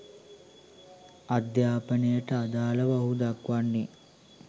අධ්‍යාපනයට අදාළව ඔහු දක්වන්නේ